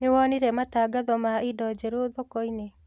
Nĩwonire matangatho ma indo njerũ thokoinĩ?